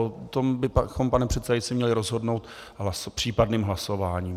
O tom bychom, pane předsedající, měli rozhodnout případným hlasováním.